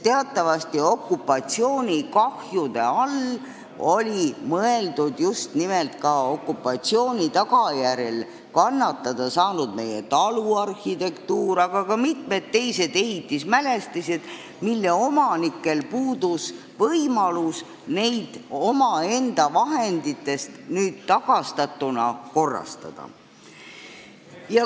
Teatavasti said okupatsiooni tagajärjel kannatada ka meie taluarhitektuur ja mitmed teised ehitismälestised, mille omanikel on puudunud võimalus neid nüüd omaenda rahaga korda teha.